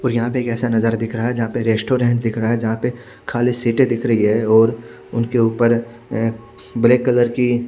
और यहां पर एक ऐसा नजारा दिख रहा है जहां पर रेस्टोरेंट दिख रहा है जहां पे खाली सीटे दिख रही है और उनके ऊपर अं ब्लैक कलर की--